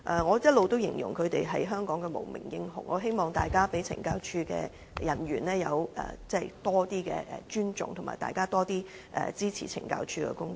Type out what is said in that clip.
我一直形容他們為香港的無名英雄，希望大家對懲教人員有較多尊重，多點支持懲教署的工作。